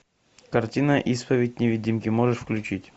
картина исповедь невидимки можешь включить